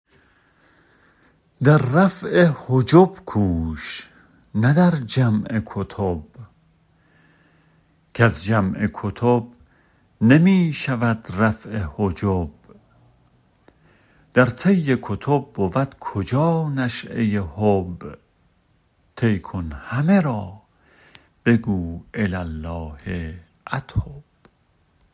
در رفع حجب کوش نه در جمع کتب کز جمع کتب نمی شود رفع حجب در طی کتب بود کجا نشیه حب طی کن همه را بگو الی الله اتب